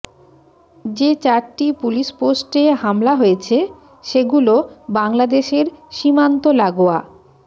যে চারটি পুলিশ পোস্টে হামলা হয়েছে সেগুলো বাংলাদেশের সীমান্ত লাগোয়া